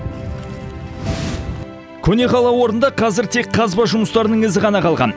көне қала орнында қазір тек қазба жұмыстарының ізі ғана қалған